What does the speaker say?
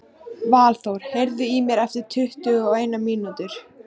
Valþór, heyrðu í mér eftir tuttugu og eina mínútur.